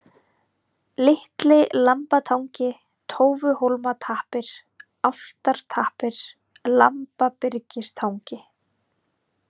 Litli-Lambatangi, Tófuhólmatappir, Álftartappir, Lambabyrgistangi